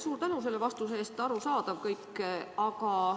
Suur tänu selle vastuse eest!